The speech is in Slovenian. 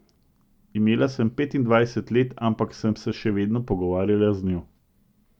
Imela sem petindvajset let, ampak sem se še vedno pogovarjala z njo.